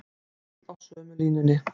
Öll á sömu línunni